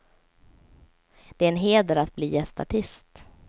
Det är en heder att bli gästartist.